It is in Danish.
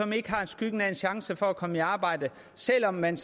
som ikke har skyggen af en chance for at komme i arbejde selv om man